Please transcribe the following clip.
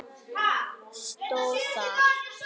stóð þar.